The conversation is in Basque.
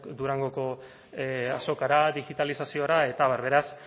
durangoko azokara digitalizaziora eta abar beraz